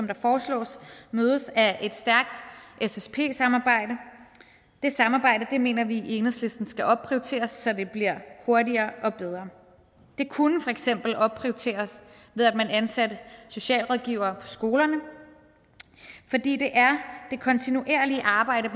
der foreslås mødes af et stærkt ssp samarbejde det samarbejde mener vi i enhedslisten skal opprioriteres så det bliver hurtigere og bedre det kunne for eksempel opprioriteres ved at man ansatte socialrådgivere på skolerne for det er det kontinuerlige arbejde